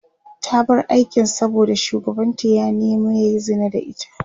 ta bar aikin saboda shugabanta ya nema yayi Zina da ita